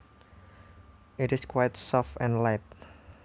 It is quite soft and light